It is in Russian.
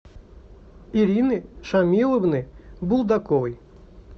ирины шамиловны булдаковой